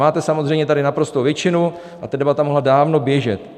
Máte samozřejmě tady naprostou většinu a ta debata mohla dávno běžet.